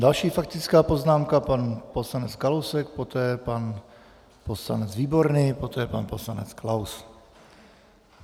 Další faktická poznámka, pan poslanec Kalousek, poté pan poslanec Výborný, poté pan poslanec Klaus.